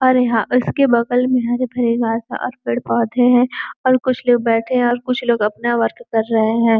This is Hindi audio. और यहाँ उसके बगल में यहाँ पे और पेड़-पौधे हैं और कुछ लोग बैठे हैं और कुछ लोग अपना वर्क कर रहे हैं।